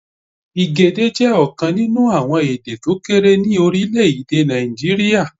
Igede jẹ́ ọ̀kan nínú àwọn èdè tókéré ní Orílèdè Nàìjíríà